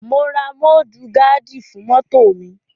Mo ra mọ́dù gaádì fún mọ́tò mi.